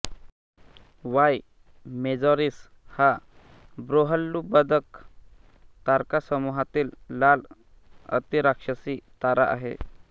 Y मेजॉरिस हा बृहल्लुब्धक तारकासमूहातील लाल अतिराक्षसी तारा आहे